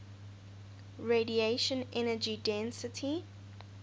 radiation energy density